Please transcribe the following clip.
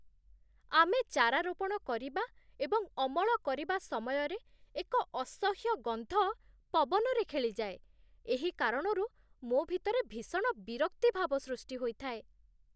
ଆମେ ଚାରା ରୋପଣ କରିବା ଏବଂ ଅମଳ କରିବା ସମୟରେ ଏକ ଅସହ୍ୟ ଗନ୍ଧ ପବନରେ ଖେଳିଯାଏ, ଏହି କାରଣରୁ ମୋ ଭିତରେ ଭୀଷଣ ବିରକ୍ତି ଭାବ ସୃଷ୍ଟି ହୋଇଥାଏ।